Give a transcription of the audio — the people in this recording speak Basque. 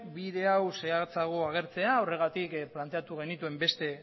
bide hau zehatzago agertzea horregatik planteatu genituen beste